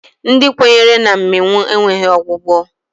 Ndị kwenyere na mmịnwụ enweghi ọgwụgwọ.